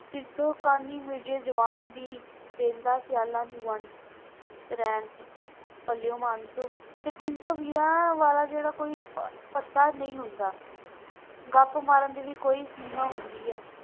ਮਿਰਜ਼ੇ ਜੁਬਾਨ ਦੀ ਦੇਂਦਾ ਸਿਆਲਾਂਨੂੰ ਵੰਡ ਭਲਿਓ ਮਾਣਸੋ ਫਿਰ ਟੀਨ ਸੋ ਵੀਰਾ ਵਾਲਾ ਜਿਹੜਾ ਕੋਈ ਪੱਤਾ ਨਹੀਂ ਹੁੰਦਾ ਗੱਪ ਮਾਰਨ ਵੀ ਕੋਈ ਸੀਮਾ ਹੁੰਦਾ ਹੈ।